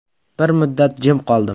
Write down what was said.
Bir muddat jim qoldim.